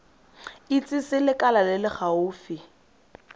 itsise lekala le le gaufi